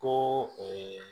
Ko